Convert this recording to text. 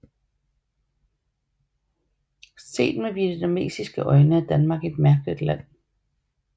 Set med vietnamesiske øjne er Danmark et mærkeligt land